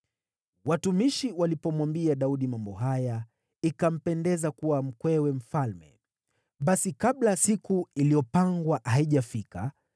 Watumishi walipomwambia Daudi mambo haya, ikampendeza kuwa mkwewe mfalme. Basi kabla siku iliyopangwa haijafika,